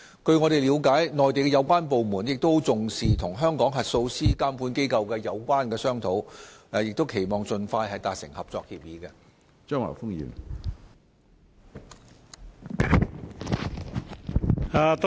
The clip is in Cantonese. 據我們了解，相關內地部門亦十分重視與香港核數師監管機構的商討，期望盡快達成合作協議。